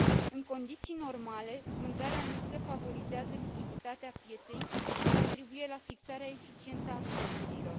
În condiții normale, vânzarea în lipsă favorizează lichiditatea pieței și contribuie la fixarea eficientă a prețurilor.